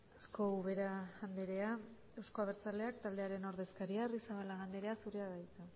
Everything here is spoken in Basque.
asko ubera andrea euzko abertzaleak taldearen ordezkaria arrizabalaga andrea zurea da hitza